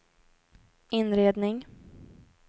inredning